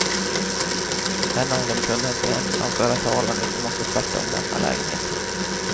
En av dem kunde inte ensam föra talan utan måste tvärtom lämna lägenheten.